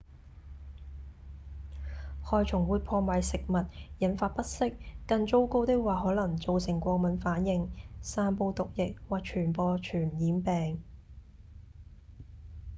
害蟲會破壞食物、引發不適更糟糕的話可能造成過敏反應、散布毒液或傳播傳染病